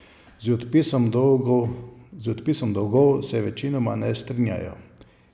Z odpisom dolgov se večinoma ne strinjajo.